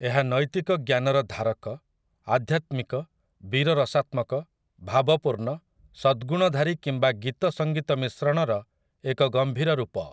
ଏହା ନୈତିକ ଜ୍ଞାନର ଧାରକ, ଆଧ୍ୟାତ୍ମିକ, ବୀର ରସାତ୍ମକ, ଭାବପୂର୍ଣ୍ଣ, ସଦ୍‌ଗୁଣଧାରୀ କିମ୍ବା ଗୀତ ସଙ୍ଗୀତ ମିଶ୍ରଣର ଏକ ଗମ୍ଭୀର ରୂପ ।